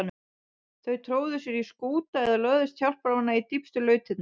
Þau tróðu sér í skúta eða lögðust hjálparvana í dýpstu lautirnar.